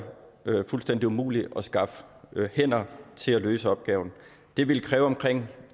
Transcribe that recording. fuldstændig umuligt at skaffe hænder til at løse opgaven det ville kræve omkring